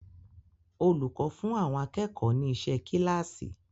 Olùkọ́ fún àwọn akẹ́kọ̀ọ́ ni iṣẹ́ kíláàsì.